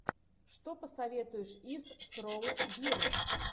что посоветуешь из с роуз бирн